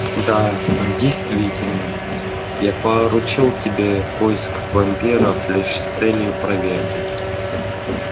да действительно я поручил тебе поиск вампиров лишь с целью проверки